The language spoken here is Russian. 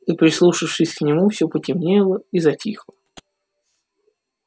и прислушавшись к нему все потемнело и затихло